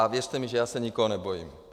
A věřte mi, že já se nikoho nebojím.